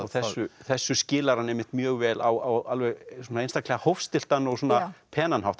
þessu þessu skilar hann einmitt mjög vel á einstaklega hófstilltan og svona penan hátt